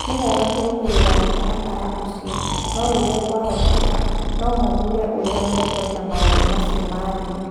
Nĩ wega kũrũmĩrĩra mũtaratara ũcio, no rĩrĩa kwahoteka, no mathuure ũrĩa mekwenda maũndũ macio mathiĩ.